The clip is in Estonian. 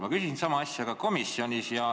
" Ma küsisin sama asja ka komisjonis.